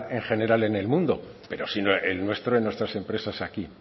en general en el mundo pero sí el nuestro en nuestras empresas aquí